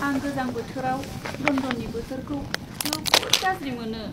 आं गोजां बोथोराव लन्दननि बोथोरखौ जोबोद गाज्रि मोनो।